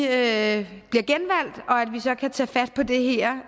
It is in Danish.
at vi så kan tage fat på det her